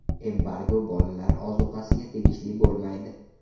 Embargo bolalar ozuqasiga tegishli bo‘lmaydi.